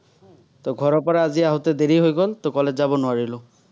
ত' ঘৰৰপৰা আজি আহোতে দেৰি হৈ গল, ত' college যাব নোৱাৰিলো।